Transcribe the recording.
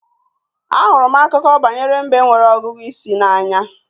Ahụrụ m Akụkọ banyere mbe nwere ọgụgụ isi n'anya